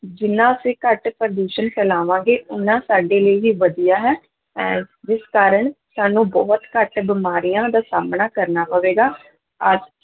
ਜਿੰਨਾ ਅਸੀਂ ਘੱਟ ਪ੍ਰਦੂਸ਼ਣ ਫੈਲਾਵਾਂਗੇ, ਓਨਾ ਸਾਡੇ ਲਈ ਹੀ ਵਧੀਆ ਹੈ ਅਹ ਜਿਸ ਕਾਰਨ ਸਾਨੂੰ ਬਹੁਤ ਘੱਟ ਬਿਮਾਰੀਆਂ ਦਾ ਸਾਹਮਣਾ ਕਰਨਾ ਪਵੇਗਾ ਆਹ